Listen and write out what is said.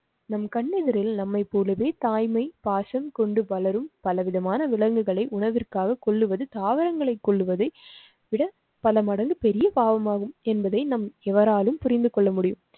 நம் கண்ணெதிரில் நம்மைப் போலவே தாய்மை பாசம் கொண்டு பலரும் பலவிதமான விலங்குகளை உணவிற்காக கொள்ளுவது தாவரங்களை கொள்வதை விட பல மடங்கு பெரிய பாவம் ஆகும் என்பதை நம் எவராலும் புரிந்து கொள்ள முடியும்.